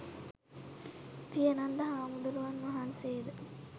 පියනන්ද හාමුදුරුවන් වහන්සේ ද